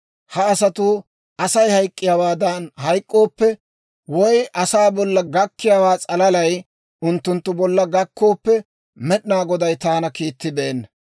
Ha asatuu Asay hayk'k'iyaawaadan hayk'k'ooppe, woy asaa bolla gakkiyaawaa s'alalay unttunttu bolla gakkooppe, Med'inaa Goday taana kiittibeenna.